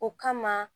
O kama